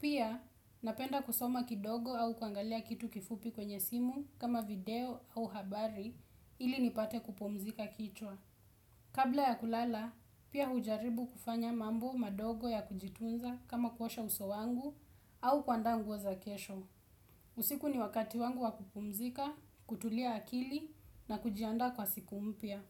pia napenda kusoma kidogo au kuangalia kitu kifupi kwenye simu kama video au habari ili nipate kupumzisha kichwa kabla ya kulala pia hujaribu kufanya mambo madogo ya kujitunza kama kuosha uso wangu au kuandaa nguo za kesho usiku ni wakati wangu wa kupumzika kutulia akili na kujiandaa kwa siku mpya.